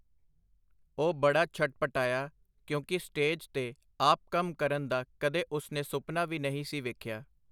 ਉਹ ਬੜਾ ਛਟਪਟਾਇਆ, ਕਿਉਂਕਿ ਸਟੇਜ ਤੇ ਆਪ ਕੰਮ ਕਰਨ ਦਾ ਕਦੇ ਉਸ ਨੇ ਸੁਪਨਾ ਵੀ ਨਹੀਂ ਸੀ ਵੇਖਿਆ.